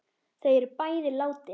Þau er bæði látin.